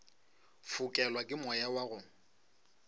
fokelwa ke moya wa go